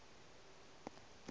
wa au go la addis